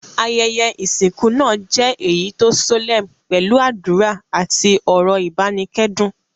Ayẹyẹ ìsìnkú náà je eyi to solemn pẹ́lu àdùrà àti ọ́rọ́ ìbánikẹ́dùn